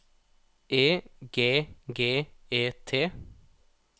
E G G E T